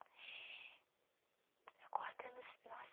Eu acordando assim, nossa!